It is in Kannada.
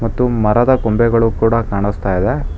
ಮತ್ತು ಮರದ ಕೊಂಬೆಗಳು ಕೂಡ ಕಾಣುಸ್ತಾ ಇದೆ.